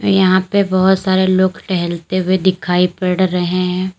यहां पे बहुत सारे लोग टहलते हुए दिखाई पड़ रहे हैं।